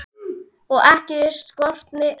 Og ekki skorti efni.